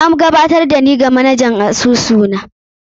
An gabatar da ni wa manajan asusu na.